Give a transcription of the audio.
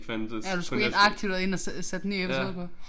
Ja du skulle ind aktivt og ind og sætte en ny episode på